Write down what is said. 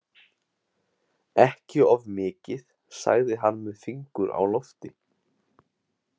Ekki of mikið, sagði hann með fingur á lofti.